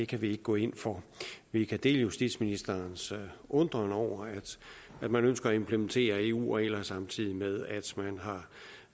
kan vi ikke gå ind for vi kan dele justitsministerens undren over at man ønsker at implementere eu regler samtidig med